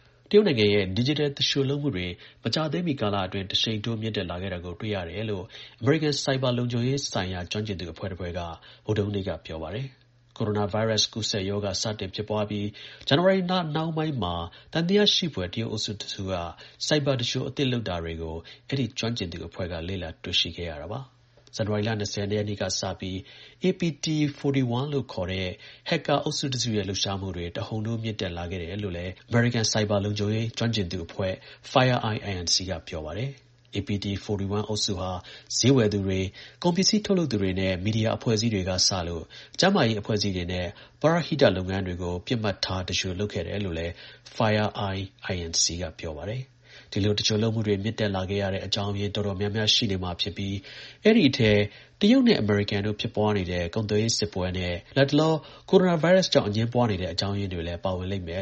တရုတ်နိုင်ငံရဲ့ ဒီဂျစ်တယ် သူလျှိုလုပ်မှုတွေ မကြာသေးမီ ကာလအတွင်း တစ်ရှိန်ထိုး မြင့်တက်လာခဲ့တာကို တွေ့လာရတယ်လို့ အမေရိကန် ဆိုက်ဘာ လုံခြုံရေးဆိုင်ရာ ကျွမ်းကျင်သူ အဖွဲ့တစ်ဖွဲ့က ဗုဒ္ဓဟူးနေ့က ပြောပါတယ်။ ကိုရိုနာ ဗိုင်းရပ်စ် ကူးစက် ရောဂါ စတင် ဖြစ်ပွားပြီး ဇန်နဝါရီလ နှောင်းပိုင်းမှာ သံသယရှိဖွယ် တရုတ် အုပ်စု တစ်စုက ဆိုက်ဘာ သူလျှို အသစ်လုပ်တာတွေကို အဲဒီ ကျွမ်းကျင်သူအဖွဲ့က တွေ့လာခဲ့ရတာပါ။ ဇန်နဝါရီလ ၂၀ ရက်နေ့က စပြီး APT41 လို့ခေါ်တဲ့ ဟက်ကာ အုပ်စုတစ်စုရဲ့ လှုပ်ရှားမှုတွေ တဟုန်ထိုး မြင့်တက်လာခဲ့တယ်လို့လည်း အမေရိကန် ဆိုက်ဘာ လုံခြုံရေး ကျွမ်းကျင်သူအဖွဲ့ FireEye Inc. က ပြောပါတယ်။ APT41 အုပ်စုဟာ ဈေးဝယ်သူတွေ၊ ကုန်ပစည်း ထုတ်လုပ်သူတွေနဲ့ မီဒီယာ အဖွဲ့အစည်းတွေက စလို့ ကျန်းမာရေး အဖွဲ့အစည်းတွေနဲ့ ပရဟိတ လုပ်ငန်းတွေအထိ ပစ်မှတ်ထား သူလျှို လုပ်ခဲ့တယ်လို့လည်း FireEye Inc. က ပြောပါတယ်။ ဒီလို သူလျှိုလုပ်မှုတွေ မြင့်တက်ခဲ့တက်ရတဲ့ အကြောင်းရင်း အတော်များများ ရှိနေမှာ ဖြစ်ပြီး အဲဒီ အထဲ တရုတ်နဲ့ အမေရိကန် တို့ ဖြစ်ပွားနေတဲ့ ကုန်သွယ်ရေး စစ်ပွဲနဲ့ လက်တလော ကိုရိုနာ ဗိုင်းရပ်စ် အငြင်းပွားနေတဲ့ အကြောင်းရင်းတွေလည်း ပါဝင်လိမ့်မယ်